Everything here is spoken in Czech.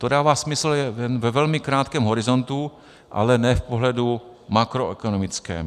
To dává smysl ve velmi krátkém horizontu, ale ne v pohledu makroekonomickém.